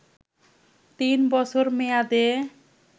তিন বছর মেয়াদে